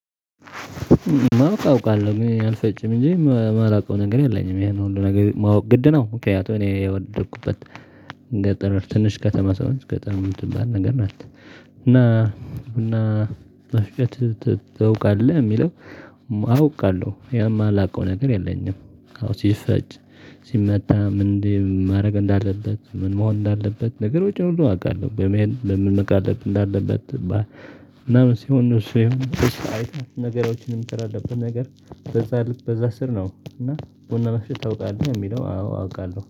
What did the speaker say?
ማወቅ አውቃለሁ ግን አልፈጭም እንጂ የማላውቀው ነገር የለኝም ያ ነው ሁሉ ነገር ማወቅ ግድ ነው። ምክንያቱም እኔ የተወለድኩበት እንደ ጠረፍ ትንሽ ከተማ ስለሆነች ገጠር ምን ትባል ነገር ናት። እና እና ቡና መፍጨት ታውቃለህ የሚለው? አውቃለሁ የማ ላቀው ነገር የለኝም። አዎ ሲፈጭ ሲመጣ ምንድነው? ማድረግ እንዳለበት ምን መሆን እንዳለበት ነገር ውጪ ሁሉ አውቃለሁ በምን መቃደል እንዳለበት ትባላለህ። ምናምን ሲሆን ነው። እሱ ወይም ነገሮችንም ትር ተረዳለብን ነገር በዛ ልክ በዛ ስር ነው እና ቡና መስጫ ታውቃለህ የሚለው? አዎ አውቃለሁ